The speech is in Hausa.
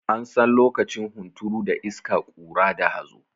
An san lokacin hunturu da iska, ƙura da hazo.